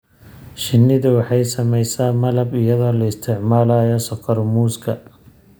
Shinnidu waxay samaysaa malab iyadoo la isticmaalayo sokor muuska.